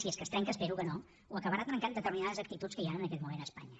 si és que es trenca espero que no ho acabaran trencant determinades actituds que hi ha en aquest moment a espanya